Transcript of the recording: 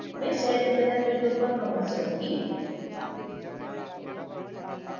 मैं सेलडिज़ाइनर window पर वापस जाउंगी